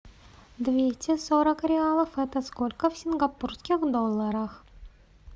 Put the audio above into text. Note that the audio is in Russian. двести сорок реалов это сколько в сингапурских долларах